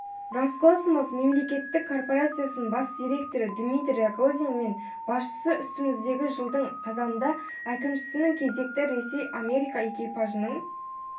роскосмос мемлекеттік корпорациясының бас директоры дмитрий рогозин мен басшысы үстіміздегі жылдың қазанында әкімшісінің кезекті ресей-америка экипажының